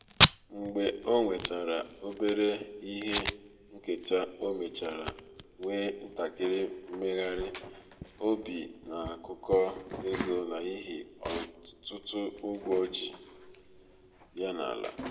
mgbe o nwetara um obere um ihe nketa o mechara nwee ntakịrị mmegharị um obi n’akụkụ ego n’ihi ọtụtụ ụgwọ ji ya n’ala